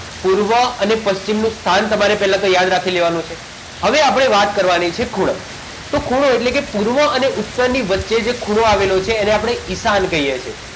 પૂર્વ અને પશ્ચિમનું સ્થાન તમારે પહેલા તો યાદ રાખી દેવાનું છે હવે આપણે વાત કરવાની છે ખૂણો તો ખૂણો એટલે પૂર્વ અને ઉત્તરની વચ્ચે જે ખૂણો આવેલા છે એને આપણે ઈશાન કહીએ છીએ